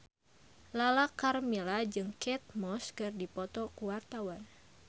Lala Karmela jeung Kate Moss keur dipoto ku wartawan